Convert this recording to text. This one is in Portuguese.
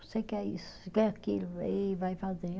Você quer isso, você quer aquilo, aí vai fazer.